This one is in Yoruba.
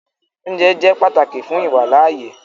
Òunjẹ jẹ́ pátákì fún iwálaàyè